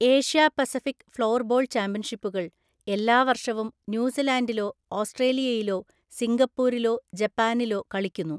Asia Pacific floorball ചാമ്പ്യൻഷിപ്പുകൾ എല്ലാ വർഷവും ന്യൂസിലാൻഡിലോ ഓസ്‌ട്രേലിയയിലോ സിംഗപ്പൂരിലോ ജപ്പാനിലോ കളിക്കുന്നു.